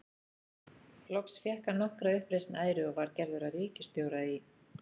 Loks fékk hann nokkra uppreisn æru og var gerður að ríkisstjóra í